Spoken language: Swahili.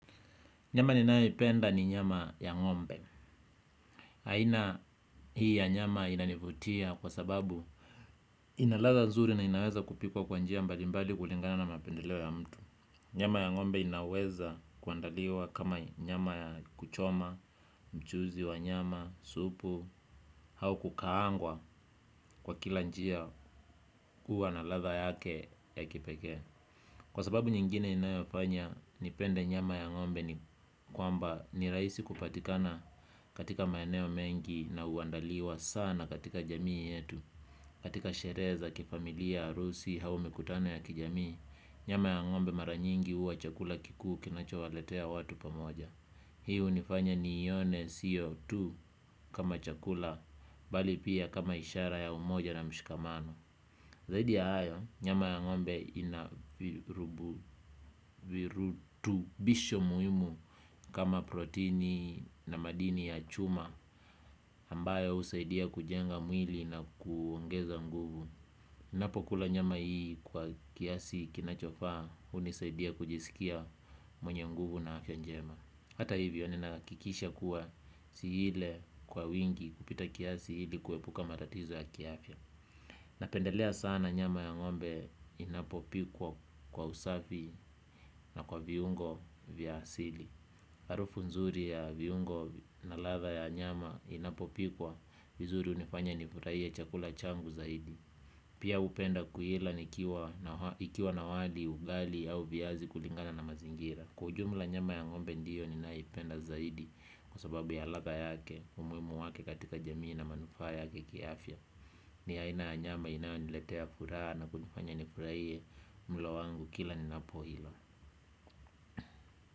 Nyama ninayoipenda ni nyama ya ngombe. Aina hii ya nyama inanivutia kwa sababu ina latha nzuri na inaweza kupikwa kwa njia mbali mbali kulingana na mapendeleo ya mtu. Nyama ya ngombe inaweza kuandaliwa kama nyama ya kuchoma, mchuzi wa nyama, supu, au kukaangwa kwa kila njia kuwa na latha yake ya kipekea. Kwa sababu nyingine inayofanya nipende nyama ya ngombe ni kwamba ni rahisi kupatikana katika maeneo mengi na uandaliwa sana katika jamii yetu. Katika sherehe za, kifamilia, arusi, au mikutano ya kijamii nyama ya ngombe mara nyingi huwa chakula kikuu kinachowaletea watu pamoja. Hiu hunifanya nione sio tu kama chakula bali pia kama ishara ya umoja na mshikamano. Zaidi ya hayo, nyama ya ngombe ina virutubisho muhimu kama protini na madini ya chuma ambayo usaidia kujenga mwili na kuongeza nguvu. Ninapokula nyama hii kwa kiasi kinachofaa hunisaidia kujisikia mwenye nguvu na afya njema. Hata hivyo, ninahakikisha kuwa siile kwa wingi kupita kiasi hili kuepuka matatizo ya kiafya. Napendelea sana nyama ya ngombe inapopikwa kwa usafi na kwa viungo vya asili. Harufu nzuri ya viungo na ladha ya nyama inapopikwa vizuri unifanya nifurahie chakula changu zaidi. Pia upenda kuila nikiwa na wali ugali au viazi kulingana na mazingira. Kwa ujumla nyama ya ngombe ndiyo ninayoipenda zaidi kwa sababu ya latha yake umuhimu wake katika jamii na manufaa yake kiafia. Ni aina ya nyama inayoniletea furaha na kunifanya nifurahie mlo wangu kila ninapoila.